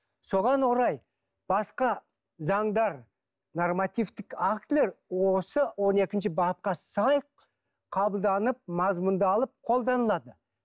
соған орай басқа заңдар нормативтік актілер осы он екінші бапқа сай қабылданып мазмұндалып қолданылады